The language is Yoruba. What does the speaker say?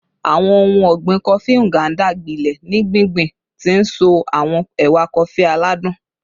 Awọn ohun ọgbin Kofi Nganda gbilẹ ni gbingbin, ti nso awọn ewa kofi aladun